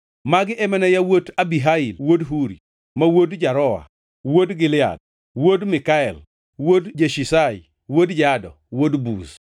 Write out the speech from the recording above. Magi ema ne yawuot Abihail wuod Huri, ma wuod Jaroa, wuod Gilead, wuod Mikael, wuod Jeshishai, wuod Jado, wuod Buz.